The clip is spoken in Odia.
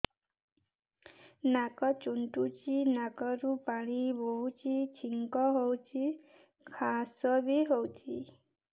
ନାକ ଚୁଣ୍ଟୁଚି ନାକରୁ ପାଣି ବହୁଛି ଛିଙ୍କ ହଉଚି ଖାସ ବି ହଉଚି